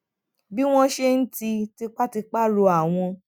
bí wón ṣe ń ti tipatipa rọ àwọn